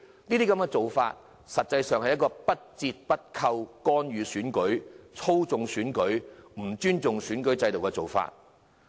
這些做法實際上是不折不扣的干預、操縱選舉，不尊重選舉制度的做法。